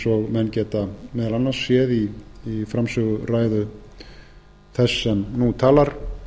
og menn geta meðal annars séð í framsöguræðu þess sem nú talar